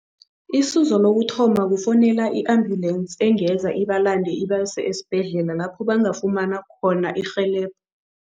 Isizo lokuthoma kufowunela i-ambulance engenza ibalande, ibase esibhedlela lapho bangafumana khona irhelebho.